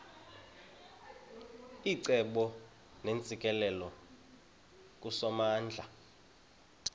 icebo neentsikelelo kusomandla